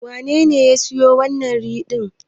Wanene ya siyo wannan rim din?